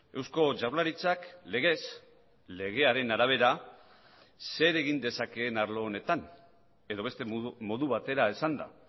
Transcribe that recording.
eusko jaurlaritzak legez legearen arabera zer egin dezakeen arlo honetan edo beste modu batera esanda